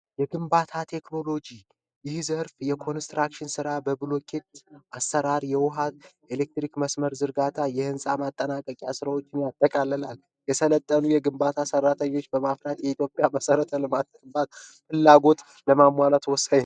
የግንባታ ቴክኖሎጂ ይህ ዘርፍ የኮንስትራክሽን ስራ በብሎኬት አሰራር የውሃ የኤሌክትሪክ መስመር ዝርጋታ የህንፃ ማጠናቀቂያ ሥራዎችን ያጠቃልላል። የሰለጠኑ የግንባታ ሠራተኞችን በማፍራት የሀገሪቱ ፍላጎት ለማሟላት ወሳኝ ነው።